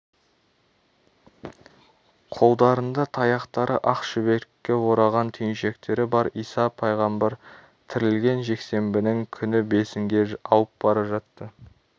қолдарында таяқтары ақ шүберекке ораған түйіншектері бар иса пайғамбар тірілген жексембінің күні бесінге ауып бара жатты